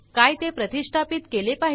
काय ते प्रतिष्ठापीत केले